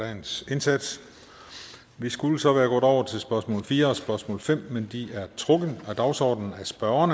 dagens indsats vi skulle så været gået over til spørgsmål fire og spørgsmål fem men de er trukket af dagsordenen af spørgeren